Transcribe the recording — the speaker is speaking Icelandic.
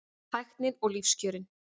Tæknin og lífskjörin